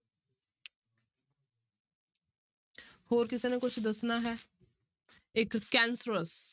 ਹੋਰ ਕਿਸੇ ਨੇ ਕੁਛ ਦੱਸਣਾ ਹੈ ਇੱਕ cancerous